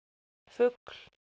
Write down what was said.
fugl